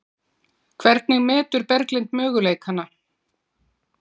Hvernig metur Berglind möguleikana?